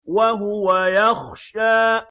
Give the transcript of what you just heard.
وَهُوَ يَخْشَىٰ